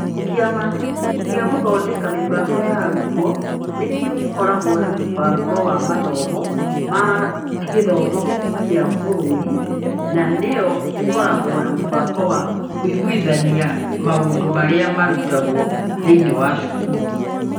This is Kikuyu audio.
Kĩama gĩa gũthondeka mĩbango ya arutwo nĩ kĩo gĩkoragwo na mũbango wa mathomo ma gĩthomo kĩa bũrũri na nĩ yo ĩkoragwo na mũbango wa kũiguithania maũndũ marĩa marutagwo thĩinĩ wa cukuru.